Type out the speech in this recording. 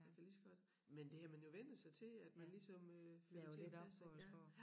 Jeg kan lige så godt men det har man jo vænnet sig til at man ligesom øh får det til at passe ik ja